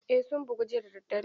Eh sun bugu jiya da daddare.